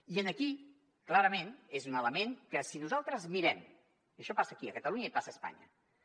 i aquest clarament és un element que si nosaltres mirem i això passa aquí a catalunya i passa a espanya